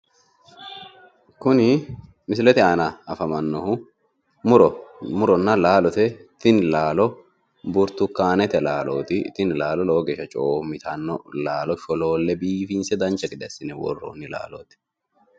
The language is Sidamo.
kuni misilete aana afamannohui muronna laalote tini laalo burtukaanete laalooti tini laalo lowo geeshsha coomitanno laalo sholoolle dancha gede assine worroonni laalooti.